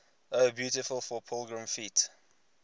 o beautiful for pilgrim feet